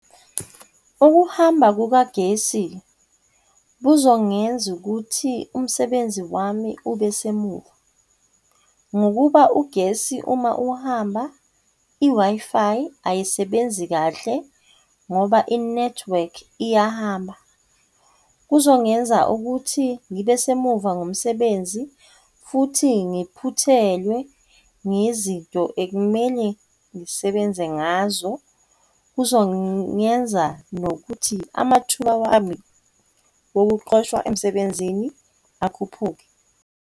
Ukuhamba kukagesi buzongenza ukuthi umsebenzi wami ube semuva, ngokuba ugesi uma uhamba, i-Wi-Fi ayisebenzi kahle ngoba inethiwekhi iyahamba. Kuzongenza ukuthi ngibe semuva ngomsebenzi futhi ngiphuthelwe ngezinto ekumele ngisebenze ngazo, kuzongenza nokuthi amathuba wami okuxoshwa emsebenzini akhuphuke.